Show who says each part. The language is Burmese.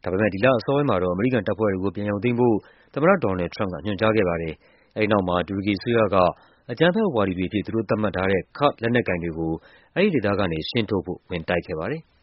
Speaker 1: ။ ဒါပေမယ့် ဒီလအစောပိုင်းမှာတော့ အမေရိကန်တပ်ဖွဲ့တွေကို ပြန်ရုပ်သိမ်းဖို့ သမ္မတ ဒေါ်နယ်လ်ဒ် ထရမ့်ပ်က ညွှန်ကြားခဲ့ပါ တယ်။ အဲဒီနောက်မှာ တူရကီအစိုးရက အကြမ်းဖက်ဝါဒီတွေအဖြစ် သတ်မှတ်ထားတဲ့ ကာ့ဒ်လက်နက်ကိုင်တွေကို အဲဒီဒေသက နေရှင်းထုတ်ဖို့ ဝင်တိုက်ခဲ့ပါတယ်။